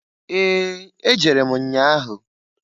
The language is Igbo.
Ee! Ejere m nnya ahụ.